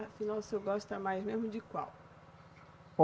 Afinal, o senhor gosta mais mesmo de qual?